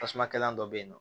Tasuma kɛlɛlan dɔ bɛ yen nɔ